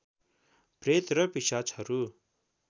प्रेत र पिशाचहरु